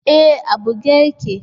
E, a buge yake.